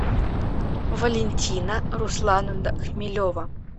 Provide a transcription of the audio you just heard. валентина руслановна хмелева